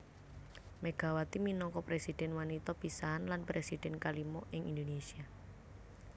Megawati minangka presidhèn wanita pisanan lan presidhèn kalima ing Indonésia